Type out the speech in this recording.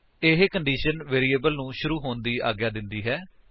ਇਹ condition variable ਨੂੰ ਸ਼ੁਰੂ ਹੋਣ ਦੀ ਆਗਿਆ ਦਿੰਦੀ ਹੈ